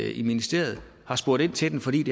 i ministeriet og spurgte ind til den for det